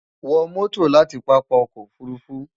wo moto lati papa oko ofurufu